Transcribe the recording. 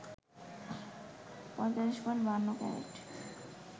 ৪৫.৫২ carat